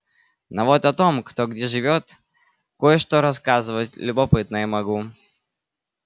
но вот о том кто где живёт кое-что рассказывать любопытное могу